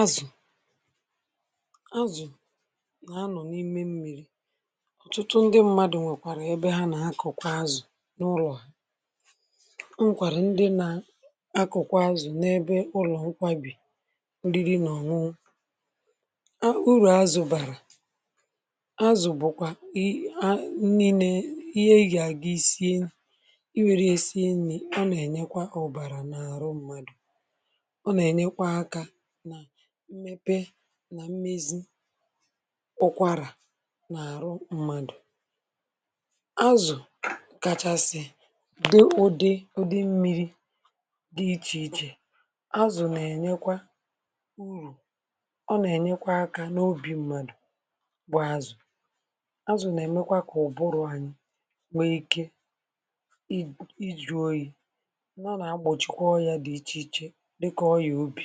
Azụ, azụ na-anọ n'ime mmiri. Ọtụtụ ndị mmadụ rụkwara ebe ha na-akọkwa azụ n'ulo ha. E nwekwara ndị na-akọkwa azụ n'ebe ụlọ nkwabi oriri na ọṅụṅụ. Uru azụ bara: azụ bụkwa nli na.... ihe eji aga ị sie, ọ na-enyekwa ọbara na ahụ mmadụ. Ọ na-enyekwa aka ná mmepe na mmezi ụkwara na arụ mmadụ. Azụ, kachasị, dị ụdị, ụdị mmiri, dị iche iche. Azụ na-enyekwa uru. Ọ na-enyekwa aka n'obi mmadụ bụ azụ. Azụ na-emekwa ka ụbụrụ anyị nwee ike, ịjụ oyi. Ha na-egbochikwa ọyịa dị iche iche dịka ọyịa obi.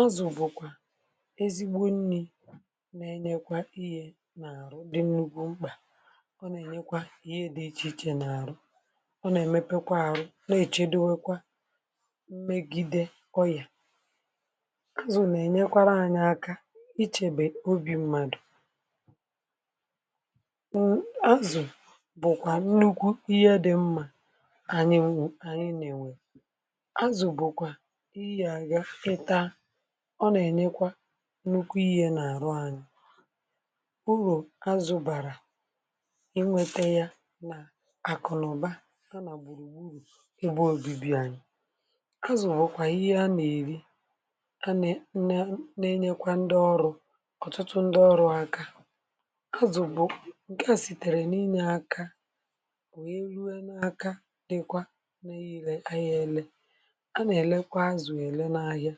Azụ bụkwa ezigbo nli na-enyekwa ihe na arụ dị nnukwu mkpa. Ọ na-enyekwa ihe dị iche iche na arụ. Ọ na-emepekwa arụ, na-echedowakwa megide ọyịa. Azụ na-enyekwara anyị aka ichebe obi mmadụ. Azụ, bụkwa nnukwu ihe dị mma, anyị na-enwe. Azụ bụkwa ihe ị ga agaa ị taa, ọ na-enyekwa nnukwu ihe na arụ anyị. Uru azụ bara, inweta ya na akụ na ụba, ya na gburugburu ebe obibi anyị. Azụ bụkwa ihe a na-eri, na-enyekwa ndị ọrụ, ọtụtụ ndị ọrụ aka. Azụ bụ nke e sitere nime aka, wee rue n'aka dịkwa n'ire, ahia ele, a na-erekwa azụ ere n'ahịa.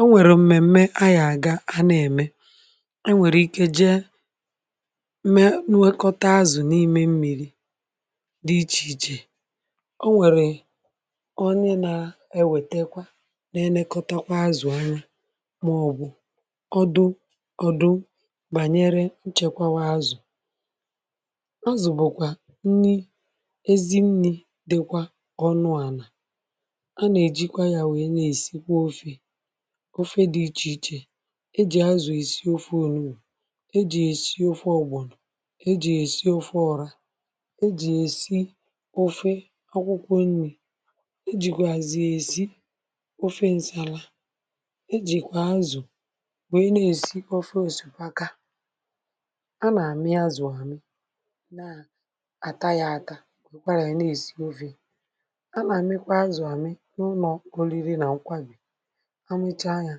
O nwere mmemme ọ ya aga a na-eme, e nwere ike jee, mee, nwekọta azụ n'ime mmiri dị iche iche. E nwere onye na-ewetekwa, na-elekọta kwa azụ anya maọbụ kọọdu kọọdu banyere nchekwawa azụ. Azụ bụkwa nli, ezi nli dịkwa ọnụ ala. A na-eji ya wee na-esikwa ofe, ofe dị iche iche. Eji azụ esi ofe onugbu, eji ya esi ofe ọgbọnọ, eji ya esi ofe ọra, eji ya esi ofe akwụkwọ nli, e jikwazi ya esi ofe nsala, e jikwa azụ, wee na-esi ofe osikapa. A na-amị azụ amị, na-ata ya ata, wekwara ya na-esi ofe. A na-amịkwa azụ ami n'ulo ọrịrị na nkwari, amịchaa ya,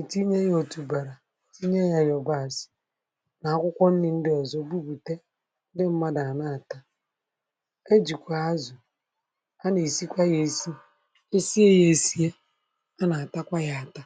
etinye ya otubara, tinye ya yabasị, na akwụkwọ nri ndị ọzọ, bugbute, ndị mmadụ a na-ata. E jikwa azụ, a na-esikwa ya esi, ị sie ya esie, a na-atakwa ya ata.